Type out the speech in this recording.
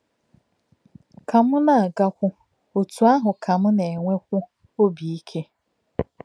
Kà m na-agakwú, otú ahụ ka m na-enwèkwú òbí íké.